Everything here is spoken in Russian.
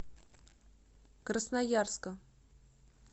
красноярска